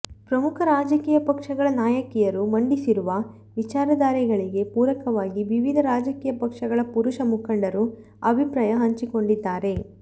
ಪ್ರಮುಖ ರಾಜಕೀಯ ಪಕ್ಷಗಳ ನಾಯಕಿಯರು ಮಂಡಿಸಿರುವ ವಿಚಾರಧಾರೆಗಳಿಗೆ ಪೂರಕವಾಗಿ ವಿವಿಧ ರಾಜಕೀಯ ಪಕ್ಷಗಳ ಪುರುಷ ಮುಖಂಡರು ಅಭಿಪ್ರಾಯ ಹಂಚಿಕೊಂಡಿದ್ದಾರೆ